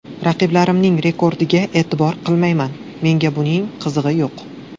Raqiblarimning rekordiga e’tibor qilmayman, menga buning qizig‘i yo‘q.